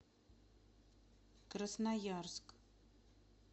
красноярск